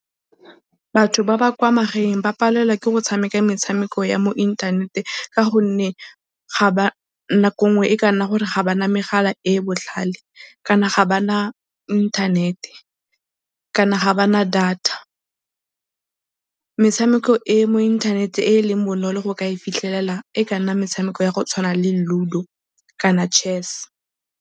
Batho ba ba kwa magaeng ba palelwa ke go tshameka metshameko ya mo inthanete ka gonne nako ngwe e ka nna gore ga ba na megala e e botlhale kana ga ba na internet kana ga ba na data. Metshameko e e mo inthanete e e leng bonolo go ka e fitlhelela e ka nna metshameko ya go tshwana le lludo kana chess.